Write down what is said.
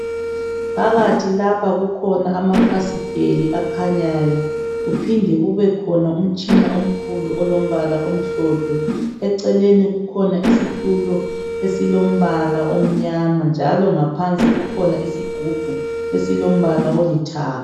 Phakathi lapha kukhona amafasiteli akhanyayo kuphinde kubekhona umtshina omkhulu olombala omhlophe eceleni kukhona isitulo esilombala omnyama njalo ngaphansi kukhona isigubhu esilombala olithanga.